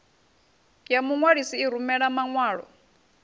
ya muṅwalisi i rumela maṅwalo